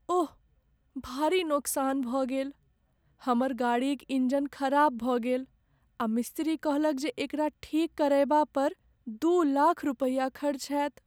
ओह, भारी नोकसान भऽ गेल। हमर गाड़ीक इंजन खराब भऽ गेल आ मिस्तिरी कहलक जे एकरा ठीक करयबा पर दू लाख रुपैया खर्च होयत।